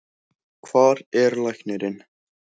Hvar er læknirinn?